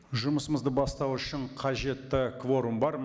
жұмысымызды бастау үшін қажетті кворум бар